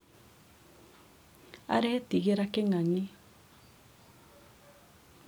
aretigĩra kĩng'ang'i